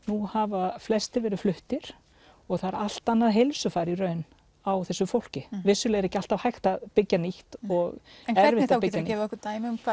nú hafa flestir verið fluttir og það er allt annað heilsufar í raun á þessu fólki vissulega er ekki alltaf hægt að byggja nýtt og erfitt þá getur þú gefið okkur dæmi um